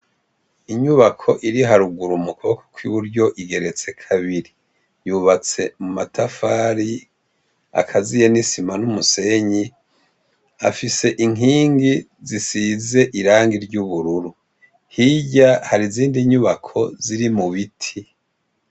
Inyubako iri harugura umukuboko kwi buryo igeretse kabiri yubatse mu matafari akaziye n'isima n'umusenyi afise inkingi zisize irangi ry'ubururu hirya hari zindi nyubako ziri mu biti.